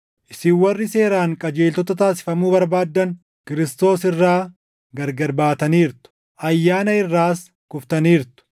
Isin warri seeraan qajeeltota taasifamuu barbaaddan Kiristoos irraa gargar baataniirtu; ayyaana irraas kuftaniirtu.